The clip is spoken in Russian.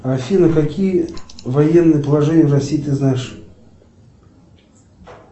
афина какие военные положения в россии ты знаешь